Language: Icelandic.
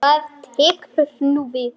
Hvað tekur nú við?